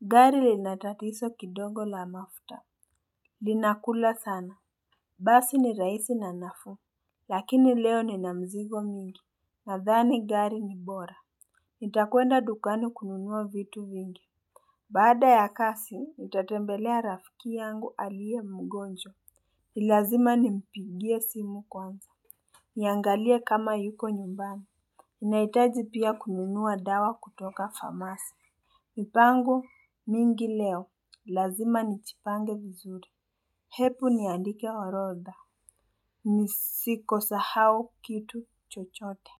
Gari lina tatizo kidogo la mafuta. Linakula sana. Basi ni rahisi na nafuu. Lakini leo nina mzigo mingi. Nadhani gari ni bora. Nitakwenda dukani kununua vitu vingi. Baada ya kazi, nitatembelea rafiki yangu aliye mgonjww. Lazima nimpigie simu kwanza. Niangalie kama yuko nyumbani. Nahitaji pia kununua dawa kutoka famasi. Mipango mingi leo. Lazima nijipange vizuri. Hebu niandike orodha. Nisiko sahau kitu chochote.